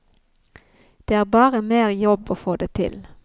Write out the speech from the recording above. Det er bare mer jobb å få det til.